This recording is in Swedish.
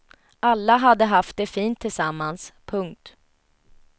Alla hade haft det fint tillsammans. punkt